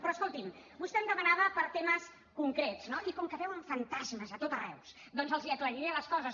però escolti’m vostè em demanava per temes concrets no i com que veuen fantasmes a tot arreu doncs els aclariré les coses